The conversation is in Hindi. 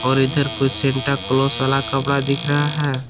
और इधर कुछ सेंटा क्लॉस वाला कपड़ा दिख रहा है।